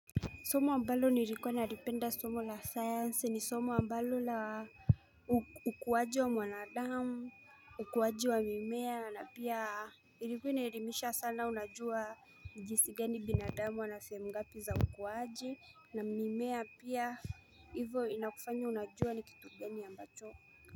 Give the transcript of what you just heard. Somo ambalo nilikuwa nalipenda somo la science ni somo ambalo la ukuwaji wa mwanadamu, ukuwaji wa mimea na pia Ilikuwa inelimisha sana unajua jinsi gani binadamu anasehemu ngapi za ukuwaji na mimea pia hivyo inakufanyo unajua ni kitu gani ambacho.